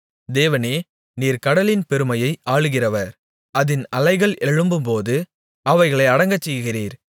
தேவனே நீர் கடலின் பெருமையை ஆளுகிறவர் அதின் அலைகள் எழும்பும்போது அவைகளை அடங்கச்செய்கிறீர்